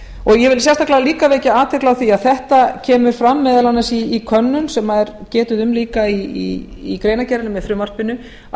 ég vil sérstaklega líka vekja athygli á því að þetta kemur fram meðal annars í könnun sem er getið um líka í greinargerðinni með frumvarpinu að